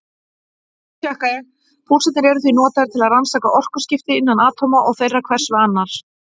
Púlsarnir eru því notaðir til að rannsaka orkuskipti innan atóma og þeirra hvers við annað.